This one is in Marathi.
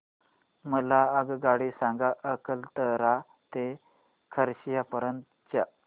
मला आगगाडी सांगा अकलतरा ते खरसिया पर्यंत च्या